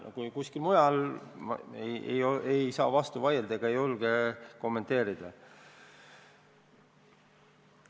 Mis toimus kuskil mujal, sellele ei saa ma vastu vaielda ega julge seda kommenteerida.